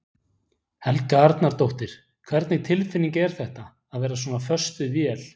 Helga Arnardóttir: Hvernig tilfinning er þetta, að vera svona föst við vél?